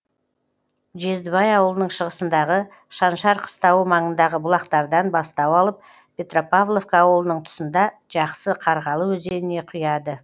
жездібай ауылының шығысындағы шаншар қыстауы маңындағы бұлақтардан бастау алып петропавловка ауылының тұсында жақсы қарғалы өзеніне құяды